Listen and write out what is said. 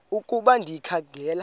ukuba ndikha ngela